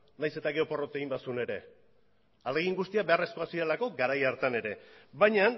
nahiz eta gero porrot egin bazuen ere ahalegin guztiak beharrezkoak zirelako garai hartan ere baina